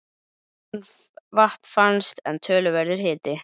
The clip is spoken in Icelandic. Ekkert vatn fannst, en töluverður hiti.